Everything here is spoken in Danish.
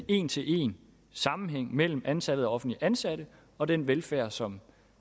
en til en sammenhæng mellem antallet af offentligt ansatte og den velfærd som